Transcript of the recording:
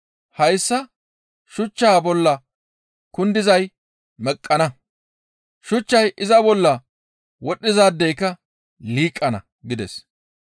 Hayssa shuchchaa bolla kundizay meqqana; shuchchay iza bolla wodhizaadeyka liiqana» gides.